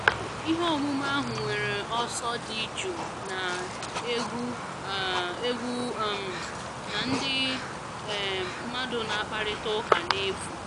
Ihe omume ahụ nwere ọsọ dị jụụ, na-egwu um egwu um na ndị um mmadụ na-akparịta ụka n'efu